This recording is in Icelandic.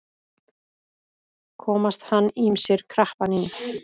Komast hann ýmsir krappan í.